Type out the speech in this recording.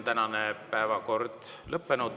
Tänane päevakord on ammendunud.